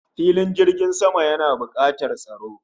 Filin jirgin sama yana bukatar tsaro